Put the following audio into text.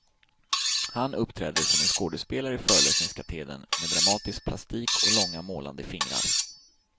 Han uppträder som en skådespelare i föreläsningskatedern med dramatisk plastik och långa målande fingrar.